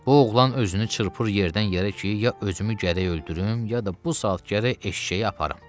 Bu oğlan özünü çırpır yerdən yerə ki, ya özümü gərək öldürüm, ya da bu saat gərək eşşəyi aparım.